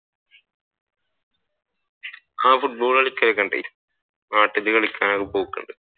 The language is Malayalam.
ആഹ് ഫുട്ബോൾ കളിക്കൽ ഒക്കെയുണ്ട് നാട്ടിൽ കളിക്കാൻ ഒക്കെപോക്കുണ്ട്.